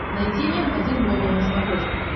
найти м один глобал на смотрешке